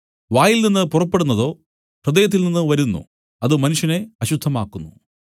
വായിൽനിന്നു പുറപ്പെടുന്നതോ ഹൃദയത്തിൽനിന്ന് വരുന്നു അത് മനുഷ്യനെ അശുദ്ധമാക്കുന്നു